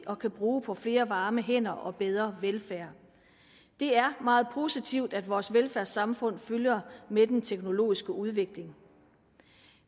og kan bruge på flere varme hænder og bedre velfærd det er meget positivt at vores velfærdssamfund følger med den teknologiske udvikling